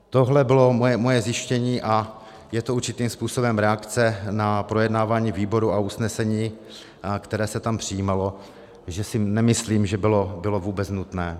Tohle bylo moje zjištění a je to určitým způsobem reakce na projednávání výboru a usnesení, které se tam přijímalo, že si nemyslím, že bylo vůbec nutné.